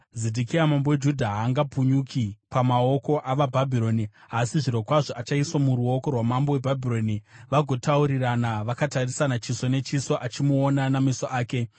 Zedhekia mambo weJudha haangapukunyuki pamaoko avaBhabhironi, asi zvirokwazvo achaiswa muruoko rwamambo weBhabhironi, vagotaurirana vakatarisana chiso nechiso achimuona nameso ake.